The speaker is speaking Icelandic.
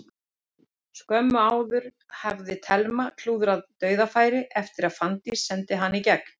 Skömmu áður hafði Telma klúðrað dauðafæri eftir að Fanndís sendi hana í gegn.